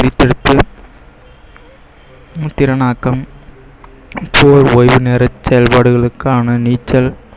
திறனாக்கம் ஓய்வு நேர செயல்பாடுகளுக்கான நீச்சல்